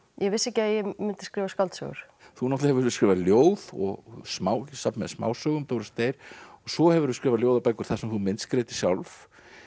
ég vissi ekki að ég myndi skrifa skáldsögur þú náttúrulega hefur skrifað ljóð og safn með smásögum Doris deyr og svo hefurðu skrifað ljóðabækur þar sem þú myndskreytir sjálf